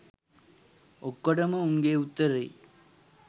ඔක්කොටම උන්ගෙ උත්තරේ